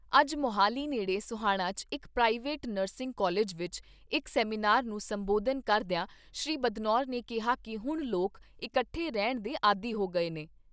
ਅੱਜ ਮੋਹਾਲੀ ਨੇੜੇ ਸੋਹਾਣਾ 'ਚ ਇਕ ਪ੍ਰਾਈਵੇਟ ਨਰਸਿੰਗ ਕਾਲਿਜ ਵਿਚ ਇਕ ਸੈਮੀਨਾਰ ਨੂੰ ਸੰਬੋਧਨ ਕਰਦਿਆਂ ਸ੍ਰੀ ਬਦਨੌਰ ਨੇ ਕਿਹਾ ਕਿ ਹੁਣ ਲੋਕ ਇਕੱਠੇ ਰਹਿਣ ਦੇ ਆਦੀ ਹੋ ਗਏ ਨੇ।